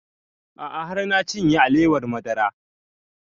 A'a har na cinye alewar madara